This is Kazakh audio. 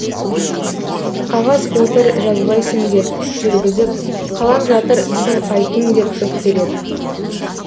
қағаз отыр жазбайсың деп жүргізіп қалам жатыр сын айттың деп өкпелеп